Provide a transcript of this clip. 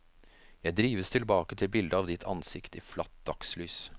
Jeg drives tilbake til bildet av ditt ansikt i flatt dagslys.